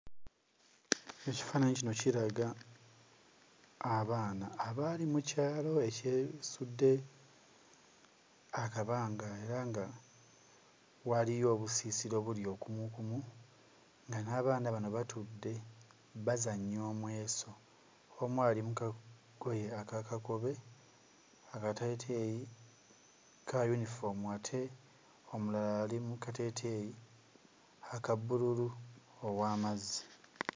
Ekifaananyi kino kiraga abaana abaali mu kyalo ekyesudde akabanga era nga waaliyo obusiisira obuli okumuukumu nga n'abaana bano batudde, bazannya omweso. Omu ali mu kagoye aka kakobe akateeteeyi ka yinifoomu ate omulala ali mu kateeteeyi aka bbululu ow'amazzi.